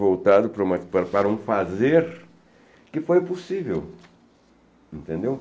voltado para uma para um fazer que foi possível, entendeu?